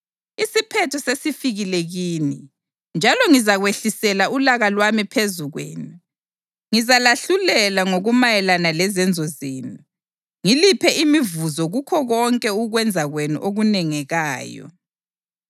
Isiphetho sesifikile kini njalo ngizakwehlisela ulaka lwami phezu kwenu. Ngizalahlulela ngokumayelana lezenzo zenu ngiliphe imivuzo kukho konke ukwenza kwenu okunengekayo.